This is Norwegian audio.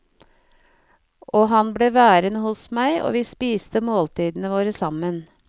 Og han ble værende hos meg og vi spiste måltidene våre sammen.